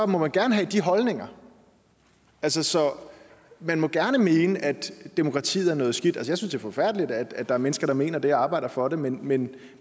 må man gerne have de holdninger altså man må gerne mene at demokratiet er noget skidt jeg synes det er forfærdeligt at der er mennesker der mener det og arbejder for det men men